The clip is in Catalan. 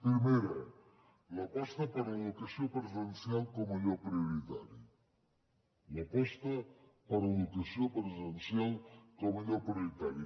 primera l’aposta per l’educació presencial com allò prioritari l’aposta per l’educació presencial com allò prioritari